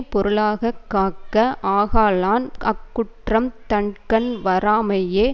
பொருளாக காக்க ஆகலான் அக்குற்றம் தன்கண் வாராமையே